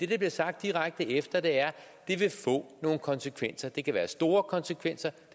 der bliver sagt direkte efter er at det vil få nogle konsekvenser det kan være store konsekvenser